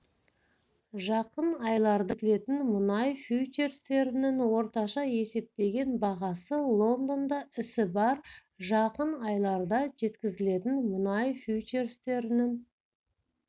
жақын айларда жеткізілетін мұнай фьючерстерінің орташа есептеген бағасы лондонда ісі барр жақын айларда жеткізілетін мұнай фьючерстерінің